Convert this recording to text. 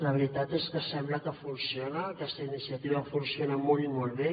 la veritat és que sembla que funciona aquesta iniciativa funciona molt i molt bé